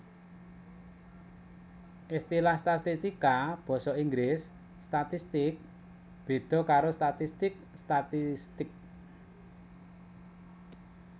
Istilah statistika basa Inggris statistics béda karo statistik statistic